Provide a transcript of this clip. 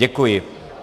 Děkuji.